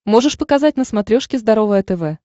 можешь показать на смотрешке здоровое тв